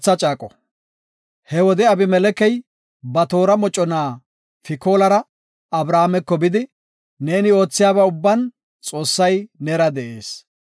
He wode, Abimelekey, ba toora mocona Fikoolara Abrahaameko bidi, “Neeni oothiyaba ubban Xoossay neera de7ees.